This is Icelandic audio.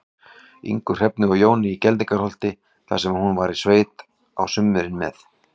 Ingu, Hrefnu og Jóni í Geldingaholti, þar sem hún var í sveit á sumrin með